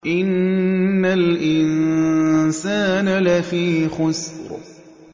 إِنَّ الْإِنسَانَ لَفِي خُسْرٍ